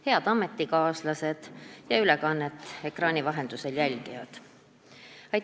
Head ametikaaslased ja ülekannet ekraani vahendusel jälgijad!